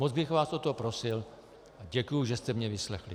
Moc bych vás o to prosil a děkuji, že jste mě vyslechli.